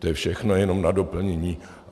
To je všechno jenom na doplnění.